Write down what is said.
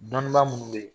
Dɔnnibaa minnu bɛ yen